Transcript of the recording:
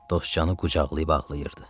Dostcanı qucaqlayıb ağlayırdı.